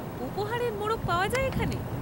উপহারের মোড়ক পাওয়া যায় এখানে?